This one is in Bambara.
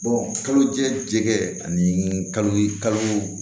kalo jɛkɛ ani kalo